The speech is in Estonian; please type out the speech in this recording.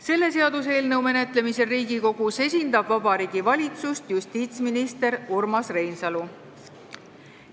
Selle seaduseelnõu menetlemisel Riigikogus esindab Vabariigi Valitsust justiitsminister Urmas Reinsalu.